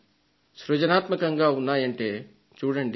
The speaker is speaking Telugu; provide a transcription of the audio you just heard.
సృజనాత్మకంగా ఉన్నాయంటే చూడండి